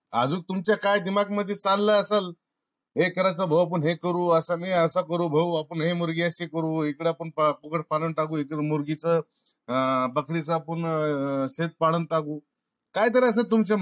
आजूक तुमच्या काय दिमाग मधी चालल असल हे कराय चे भाऊ आपण हे अस करू. अस नाय आपण अस करू भाऊ. आपण हे अशी करू. इकड पण कुकड पालन टाकू. इकड मुर्गीच अह बकरी च पूर्ण शेष पालन टाकू. काय तर असल तुमच्या मनात